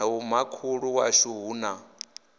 na vhomakhulu washu hu na